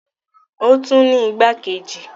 Ó tún ní igbákejì.